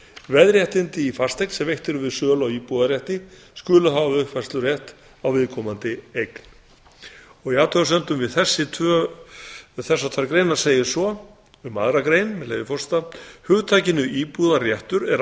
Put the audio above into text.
veðréttindi í fasteign sem eru veitt við sölu á íbúðarrétti skulu hafa uppfærslurétt á viðkomandi eign í athugasemdum við þessar tvær greinar segir svo um aðra grein með leyfi forseta hugtakinu íbúðarréttur er